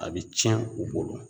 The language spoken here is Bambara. A bɛ tiɲɛ u bolo